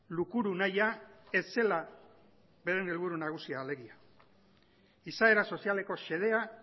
lukuru nahia ez zela beren helburu nagusia alegia izaera sozialeko xedea